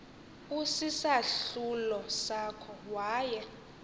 usisahlulo sakho waye